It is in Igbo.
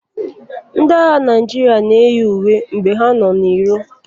Ndị agha Naijiria na eyi uwe mgbe ha nọ na iro.